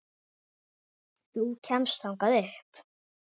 Þú kemst þangað upp.